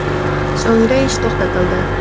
So‘ngra ish to‘xtatildi.